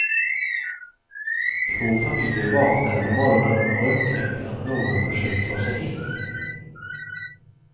Två familjer vaknade på morgonen och upptäckte att någon försökt ta sig in.